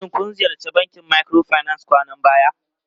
Shin kun ziyarci bankin microfinance kwanan nan?